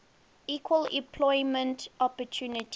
equal employment opportunity